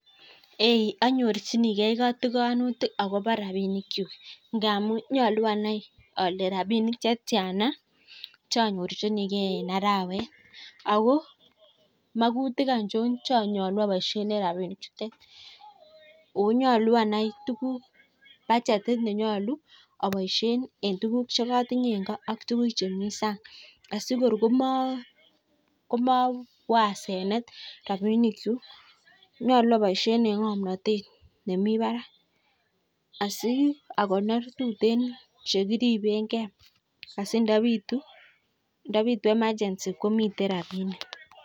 Eee anyorchinigei kotikonutik akobo rabinikchu. Ngamu nyolu anai ale rapinik chetiana chanyorchinigei eng arawet. Ako magutik aichon che nyolu aboishen en rapinichutet. Ako nyolu anai tukuk, budgetit ne nyolu aboishe en tukuk cheatinye eng ko ak tukuk chemi san'g A.sikor komawo asenet rapinikchu. Nyolu aboishe eng ng'omnatet nemi barak. Asi akonor tuteen chekiribengei asi ndapitu emergency komitei rapinik.